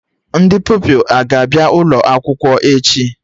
Ndị Pupilụ aga abịa ụlọ akwụkwọ echi?